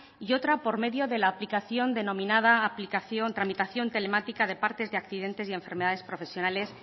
y otra por medio de la aplicación denominada aplicación tramitación telemática de partes de accidentes y enfermedades profesionales